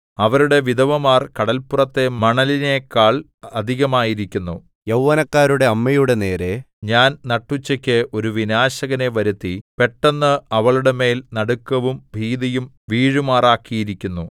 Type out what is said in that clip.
അവരുടെ വിധവമാർ കടല്പുറത്തെ മണലിനെക്കാൾ അധികമായിരിക്കുന്നു യൗവനക്കാരുടെ അമ്മയുടെ നേരെ ഞാൻ നട്ടുച്ചയ്ക്ക് ഒരു വിനാശകനെ വരുത്തി പെട്ടെന്ന് അവളുടെമേൽ നടുക്കവും ഭീതിയും വീഴുമാറാക്കിയിരിക്കുന്നു